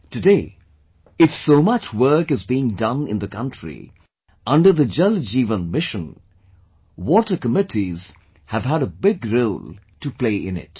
Today, if so much work is being done in the country under the 'Jal Jeevan Mission', water committees have had a big role to play in it